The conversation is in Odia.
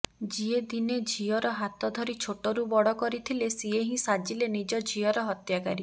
ଜିଏ ଦିନେ ଝିଅର ହାତ ଧରି ଛୋଟରୁ ବଡ କରିଥିଲେ ସିଏ ହିଁ ସାଜିଲେ ନିଜ ଝିଅର ହତ୍ୟାକାରୀ